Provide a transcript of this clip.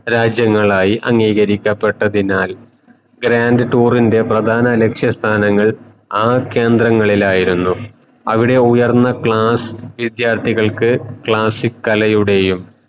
രാജ്യങ്ങളായി അംഗീകരിക്കപ്പെട്ടതിനാൽ grand tour ൻറെ പ്രദാന ലക്ഷ്യ സ്ഥാനങ്ങൾ ആ കേന്ദ്രങ്ങളിലായിരുന്നു അവിടെ ഉയർന്ന class വിദ്യാർത്ഥികൾക്ക് classic കലയുടെയും